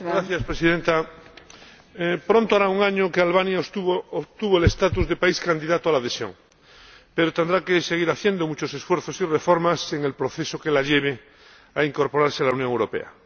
Señora Presidenta, pronto hará un año que Albania obtuvo el estatus de país candidato a la adhesión, pero tendrá que seguir haciendo muchos esfuerzos y reformas en el proceso que la lleve a incorporarse a la Unión Europea.